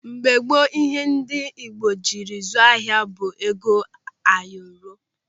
Mgbe gboo ihe ndị Igbo jiri zụọ ahịa bụ ego ayọrọ.